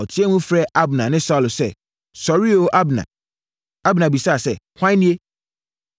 Ɔteaam frɛɛ Abner ne Saulo sɛ, “Sɔre oo! Abner.” Abner bisaa sɛ, “Hwan nie?”